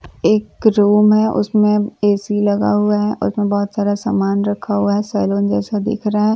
एक रूम है उसमें ए_सी लगा हुआ है उसमें बहुत सारा सामान रखा हुआ है सैलून जैसा दिख रहा है।